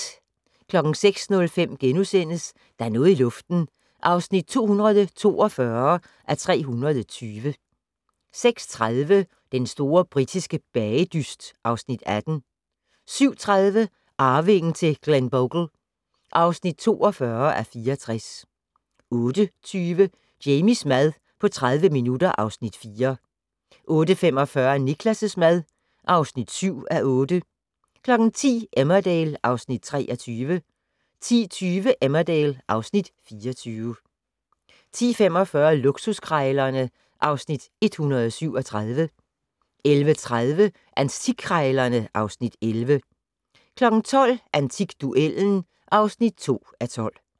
06:05: Der er noget i luften (242:320)* 06:30: Den store britiske bagedyst (Afs. 18) 07:30: Arvingen til Glenbogle (42:64) 08:20: Jamies mad på 30 minutter (Afs. 4) 08:45: Niklas' mad (7:8) 10:00: Emmerdale (Afs. 23) 10:20: Emmerdale (Afs. 24) 10:45: Luksuskrejlerne (Afs. 137) 11:30: Antikkrejlerne (Afs. 11) 12:00: Antikduellen (2:12)